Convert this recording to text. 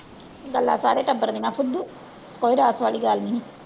ਗੱਲਾਂ ਸਾਰੇ ਟੱਬਰ ਦੀਆਂ ਫੁੱਦੂ, ਕੋਈ ਵਾਲੀ ਗੱਲ ਨੀ।